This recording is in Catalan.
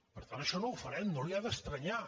per tant això no ho farem no li ha d’estranyar